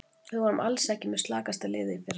Við vorum alls ekki með slakasta liðið í fyrra.